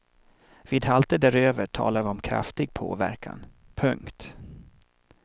Vid halter däröver talar vi om kraftig påverkan. punkt